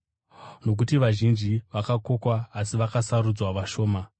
“Nokuti vazhinji vakakokwa asi vakasarudzwa vashoma.”